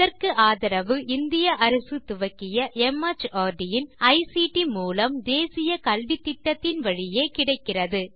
இதற்கு ஆதரவு இந்திய அரசு துவக்கிய மார்ட் இன் ஐசிடி மூலம் தேசிய கல்வித்திட்டத்தின் வழியே கிடைக்கிறது